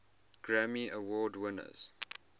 grammy award winners